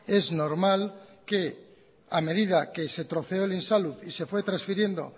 es normal que a medida que se troceó el insalud y se fue transfiriendo